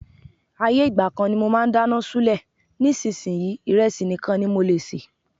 Ayé ìgbà kan ni mo máa ń dáná ṣúlẹ̀, nísinsìnyí, ìrẹsì nìkan ní mo lè sè.